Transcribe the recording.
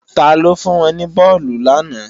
Taló fún wọn ní bọ́ọ̀lù làná